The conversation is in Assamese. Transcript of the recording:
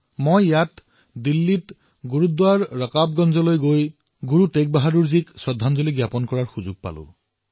মই ইয়াত দিল্লীত গুৰুদ্বাৰ ৰকাবগঞ্জলৈ গৈ গুৰু টেগ বাহাদুৰ জীক শ্ৰদ্ধাঞ্জলি অৰ্পণ কৰাৰ সৌভাগ্য লাভ কৰিলো